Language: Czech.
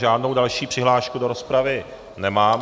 Žádnou další přihlášku do rozpravy nemám.